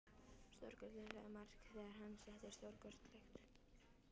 Stórkostlegt, sagði Mark þegar hann settist, stórkostlegt.